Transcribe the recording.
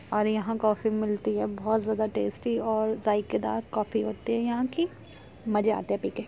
और यहाँ कॉफ़ी मिलती हैं| बहुत ज्यादा टेस्टी और जाएकेदार कॉफ़ी होती है यहाँ की मज़ा आता है पी के ।